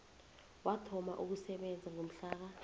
wathoma ukusebenza ngomhlaka